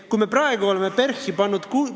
Kui palju raha me oleme PERH-i pannud!